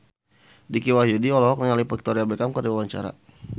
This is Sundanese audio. Dicky Wahyudi olohok ningali Victoria Beckham keur diwawancara